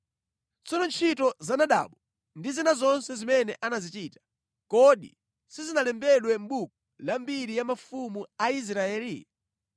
Tsono ntchito za Nadabu ndi zina zonse zimene anazichita, kodi sizinalembedwe mʼbuku la mbiri ya mafumu a Israeli?